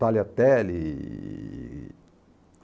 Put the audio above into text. Tagliatelle.